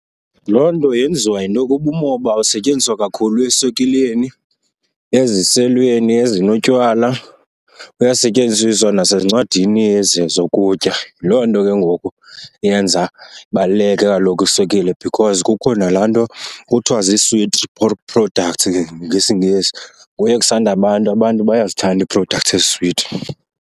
Loo nto yenziwa yinto yokuba umoba usetyenziswa kakhulu eswekileni, eziselweni ezinotywala, uyasetyenziswa nasezincwadini ezi zokutya. Yiloo nto ke ngoku yenza ibaluleke kaloku iswekile because kukho nalaa nto kuthiwa zii-sweet products ngesiNgesi. Kuye kusanda abantu, abantu bayazithanda ii-products eziswiti.